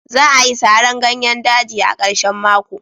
Za'a yi saran ganyer daji, a karshen mako.